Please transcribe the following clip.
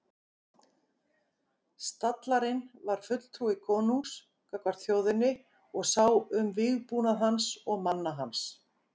Stallarinn var fulltrúi konungs gagnvart þjóðinni og sá um vígbúnað hans og manna hans.